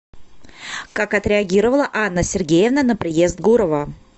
как отреагировала анна сергеевна на приезд гурова